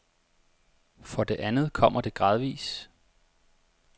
For det andet kommer det gradvis.